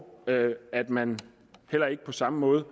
at man på samme måde